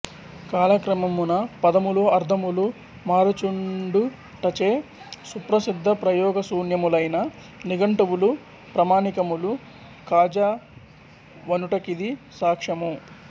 కాలక్రమమున పదములు అర్ధములు మారుచుండుటచె సుప్రశిద్ధప్రయోగశూన్యములైన నిఘంటువులు ప్రమాణికములు కాజాలవనుటకిది సాక్ష్యము